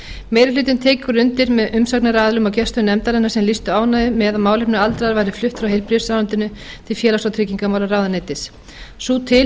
meiri hlutinn tekur undir með umsagnaraðilum og gestum nefndarinnar sem lýstu ánægju með að málefni aldraðra væru flutt frá heilbrigðisráðuneytinu til félags og tryggingamálaráðuneytis sú